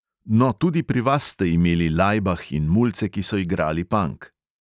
No, tudi pri vas ste imeli lajbah in mulce, ki so igrali pank.